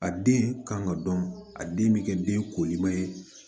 A den kan ŋ'o dɔn a den bɛ kɛ den koliman ye